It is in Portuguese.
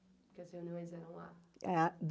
Porque as reuniões eram lá.